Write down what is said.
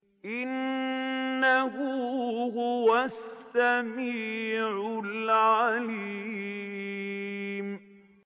إِنَّهُ هُوَ السَّمِيعُ الْعَلِيمُ